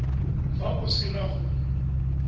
fa o se na go